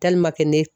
ne